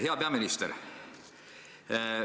Hea peaminister!